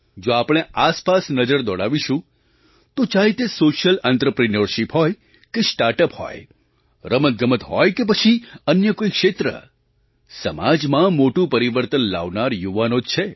જો આપણે આસપાસ નજર દોડાવીશું તો ચાહે તે સૉશિયલ આંત્રપ્રિન્યૉરશિપ હોય કે સ્ટાર્ટ અપ હોય રમતગમત હોય કે પછી અન્ય કોઈ ક્ષેત્ર સમાજમાં મોટું પરિવર્તન લાવનાર યુવાનો જ છે